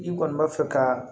I kɔni b'a fɛ ka